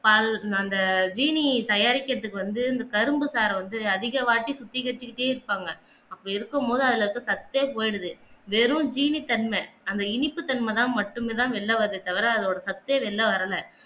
அந்த ஜீனி தயாரிப்பதற்கு வந்து அந்த கரும்பு சார வந்து அதிக வாட்டு சுத்திகரிச்சுக்கிட்டே அப்படி இருக்கும்போது அதில இருந்து சத்தே போயிடுது வெறும் ஜீனி தன்மஅந்த இனிப்பு தன்மதான் மட்டுமே தான் வெளில வருதே தவிர அதோட சத்தே வெளில வரல